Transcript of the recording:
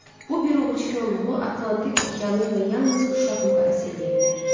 Bu bir ovuc korluğu Atlantik okeanı ilə yalnız uşaq müqayisə eləyə bilər.